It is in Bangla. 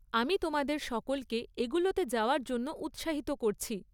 আমি তোমাদের সকলকে এগুলোতে যাওয়ার জন্য উৎসাহিত করছি।